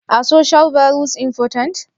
Are social values ​​important?